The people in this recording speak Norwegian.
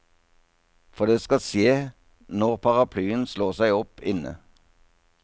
For det skal skje når paraplyen slår seg opp inne.